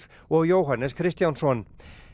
og Jóhannes Kristjánsson